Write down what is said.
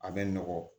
A bɛ nɔgɔn